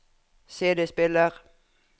CD-spiller